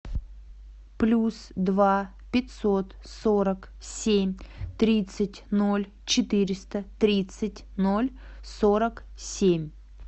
плюс два пятьсот сорок семь тридцать ноль четыреста тридцать ноль сорок семь